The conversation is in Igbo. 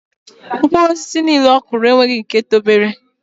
Mkpụru osisi nile okụro onweighi nke tobere.